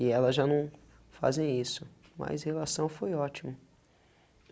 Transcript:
E elas já não fazem isso, mas a relação foi ótima.